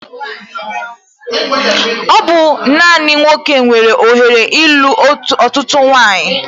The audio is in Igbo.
Ọ bụ naani nwoke nwere ohere ilu ọtụtụ nwanyi